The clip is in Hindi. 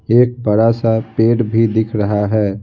एक बड़ा सा पेड़ भी दिख रहा है।